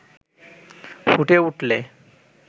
ফুটে উঠলে